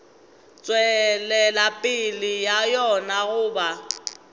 tšwelela pele ga yona goba